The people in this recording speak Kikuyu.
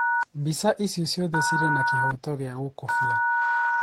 Mbica icio ciothe irĩ na kĩhooto gĩa gũkobia.